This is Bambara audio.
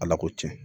Ala ko tiɲɛ